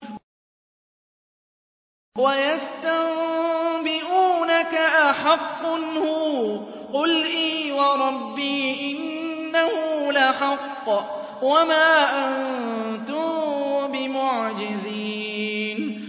۞ وَيَسْتَنبِئُونَكَ أَحَقٌّ هُوَ ۖ قُلْ إِي وَرَبِّي إِنَّهُ لَحَقٌّ ۖ وَمَا أَنتُم بِمُعْجِزِينَ